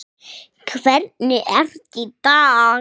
Hvernig ertu í dag?